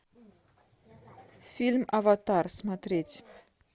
фильм аватар смотреть